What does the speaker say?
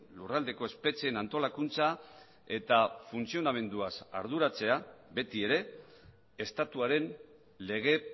lurraldeko espetxeen antolakuntza eta funtzionamenduaz arduratzea betiere estatuaren lege